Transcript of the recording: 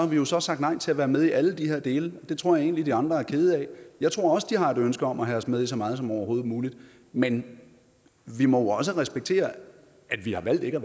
vi jo så sagt nej til at være med i alle de her dele og det tror jeg egentlig de andre er kede af jeg tror også de har et ønske om at have os med i så meget som overhovedet muligt men vi må også respektere at vi har valgt ikke